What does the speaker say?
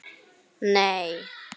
Skapar þetta enga óánægju?